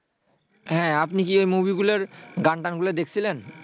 হ্যাঁ আপনি কি এই মুভিগুলার গান-টানগুলা দেখছিলেন?